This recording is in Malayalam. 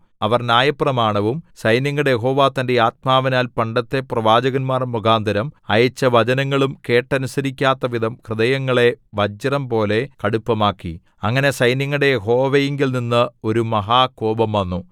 അവർ ന്യായപ്രമാണവും സൈന്യങ്ങളുടെ യഹോവ തന്റെ ആത്മാവിനാൽ പണ്ടത്തെ പ്രവാചകന്മാർ മുഖാന്തരം അയച്ച വചനങ്ങളും കേട്ടനുസരിക്കാത്തവിധം ഹൃദയങ്ങളെ വജ്രംപോലെ കടുപ്പമാക്കി അങ്ങനെ സൈന്യങ്ങളുടെ യഹോവയിങ്കൽനിന്നു ഒരു മഹാകോപം വന്നു